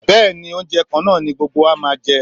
Bẹ́ẹ̀ni, oúnjẹ kan náà ni gbogbo máa jẹ